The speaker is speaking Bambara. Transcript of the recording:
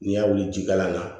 N'i y'a wuli jikalan na